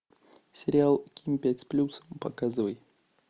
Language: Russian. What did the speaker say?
сериал ким пять с плюсом показывай